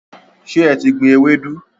Ṣe e ti gbìn Ewedu?